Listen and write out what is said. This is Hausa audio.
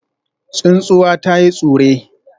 Tsuntsuwa ta yi tsure